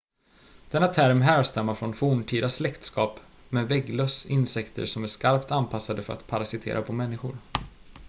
denna term härstammar från forntida släktskap med vägglöss insekter som är skarpt anpassade för att parasitera på människor